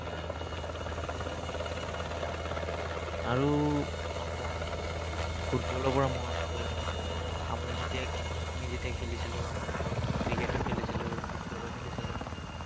আৰু, আহ মই, ফুটবলৰ পৰা মনত পৰিল মোৰ, আমাৰ যেতিয়া, আমি যেতিয়া খেলিছিলো, আমাৰ ঘৰত ক্ৰিকেটো খেলিছিলো, ফুটবলো খেলিছিলো।